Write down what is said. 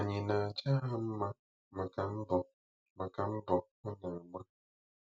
Ànyị na-aja ha mma maka mbọ maka mbọ ha na-agba?